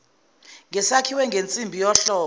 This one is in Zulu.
ngesakhiwe ngensimbi yohlobo